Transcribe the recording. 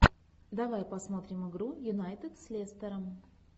давай посмотрим игру юнайтед с лестером